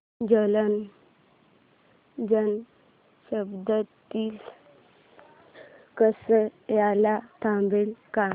जालना जन शताब्दी कसार्याला थांबते का